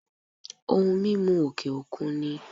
Ohun mímu òkè òkun ni